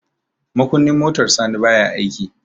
makunnin motar sani baya aiki